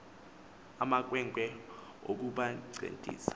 ama khwenkwe okubancedisa